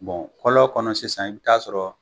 kɔlɔ kɔnɔ sisan i bi taa sɔrɔ